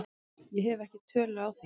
Ég hef ekki tölu á því.